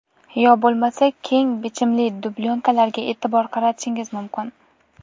Yo bo‘lmasa keng bichimli dublyonkalarga e’tibor qaratishingiz mumkin.